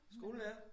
Skolelærer?